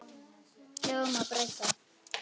Lögum má breyta.